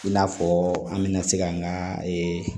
I n'a fɔ an bɛna se ka an ka